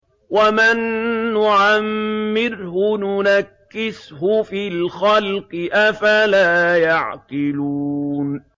وَمَن نُّعَمِّرْهُ نُنَكِّسْهُ فِي الْخَلْقِ ۖ أَفَلَا يَعْقِلُونَ